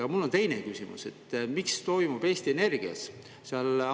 Aga mul on teine küsimus: mis toimub Eesti Energias?